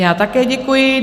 Já také děkuji.